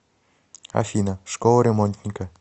афина школа ремонтника